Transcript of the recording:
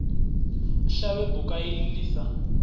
shavhe buka ili li sa